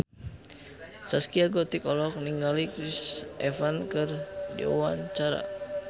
Zaskia Gotik olohok ningali Chris Evans keur diwawancara